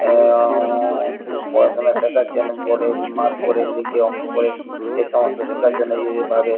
এওঁওঁওঁওঁ ও পড়াশুনা শেখাচ্ছেন এ বোর্ড এ মার্ক করে লিখে অঙ্ক করে এই সমস্ত শেখার জন্য এই ভাবে।